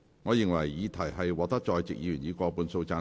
我認為議題獲得在席議員以過半數贊成。